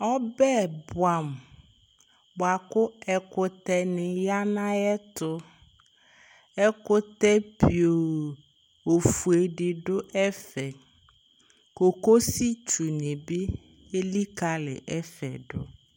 Ɔbɛ bʋɛamʋ bʋa kʋ ɛkʋtɛnɩ ya nʋ ayɛtʋ Ɛkʋtɛ pioo ofue dɩ dʋ ɛfɛ Kokositdunɩ bɩ elikalɩ ɛfɛ dʋ